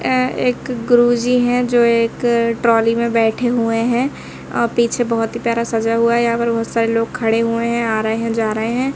ए एक गुरुजी हैं जो एक ट्रॉली में बैठे हुए हैं अ पीछे बहुत प्यारा सज़ा हुआ यहां पर बहुत सारे लोग खड़े हुए हैं आ रहे हैं जा रहे हैं।